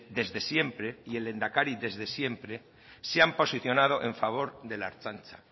desde siempre y el lehendakari desde siempre se han posicionado en favor de la ertzaintza